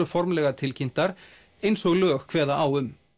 formlega tilkynnt um eins og lög kveða á um